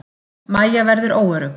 Mæja verður óörugg.